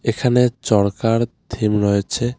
এখানে চরকার থিম রয়েছে .]